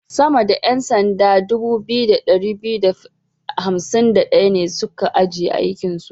Sama da 'yan sanda 2251 ne su ka ajiye aikinsu.